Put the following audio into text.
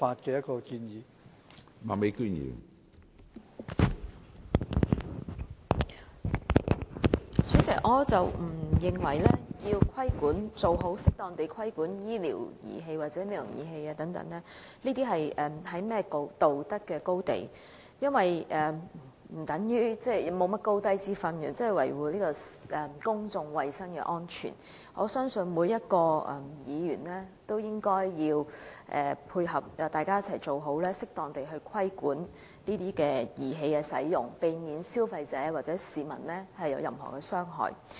主席，我不認為適當規管醫療或美容儀器是甚麼道德高地，因為維護公眾衞生及安全是理所當然的，我相信每位議員都應該配合，大家一起做好此事，適當地規管這些儀器的使用，避免消費者或市民遭受傷害。